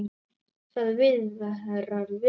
Það viðrar vel fyrir